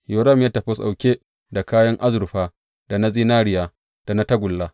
Yoram ya tafi ɗauke da kayan azurfa, da na zinariya, da na tagulla.